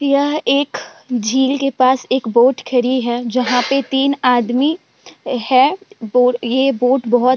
यह एक झील के पास एक बोट खड़ी है। जहाँ पे तीन आदमी है। बो ये बोट बहुत --